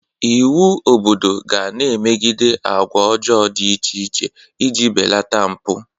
Iwu obodo ga na-emegide agwa ọjọọ dị iche iche ị ji belata mpụ.